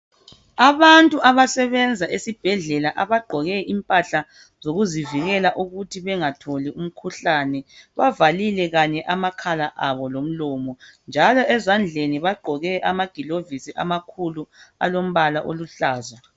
Abantu abasebenza esibhedlela abagqoke impahla zokuzivikela ukuthi bengatholi umkhuhlane bavalile makhala abo lomlomo njalo ezandleni bagqoke amagilovizi amakhulu alombala oluhlaza.